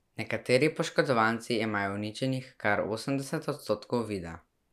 Nekateri poškodovanci imajo uničenih kar osemdeset odstotkov vida.